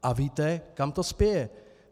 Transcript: A víte, kam to spěje.